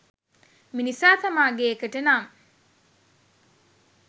මිනිසා තමාගේ එකට නම්